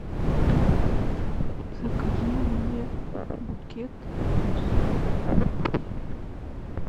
закажи мне букет роз